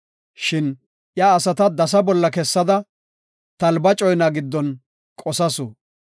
Shin iya asata dasa bolla kessada talba coyna giddon qosasu.